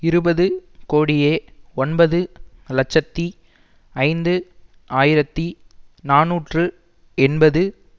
இருபது கோடியே ஒன்பது லட்சத்தி ஐந்து ஆயிரத்தி நாநூற்று எண்பது